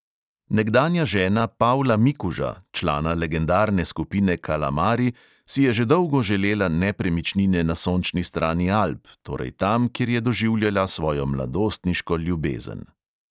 Nekdanja žena pavla mikuža, člana legendarne skupine kalamari, si je že dolgo želela nepremičnine na sončni strani alp, torej tam, kjer je doživljala svojo mladostniško ljubezen.